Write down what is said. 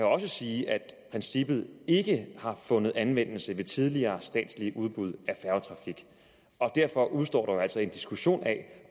også sige at princippet ikke har fundet anvendelse ved tidligere statslige udbud af færgetrafik og derfor udestår der jo altså en diskussion af